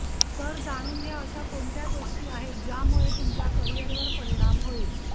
तर जाणून घ्या अशा कोणत्या गोष्टी आहेत ज्यामुळे तुमच्या करिवर परिणाम होईल